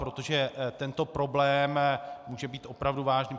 Protože tento problém může být opravdu vážný.